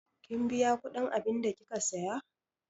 Kin biya kudin abunda kika Siya?